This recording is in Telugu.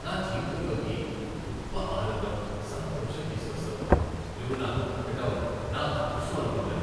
నా జీవితంలోకి గొప్ప ఆనందం, సంతోషం తీసుకొస్తావు. నువ్వు నాకు దొరకటం నా అదృష్టం అనుకుంటాను.